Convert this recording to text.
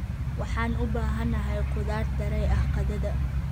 Waxaan u baahanahay khudaar daray ah qadada.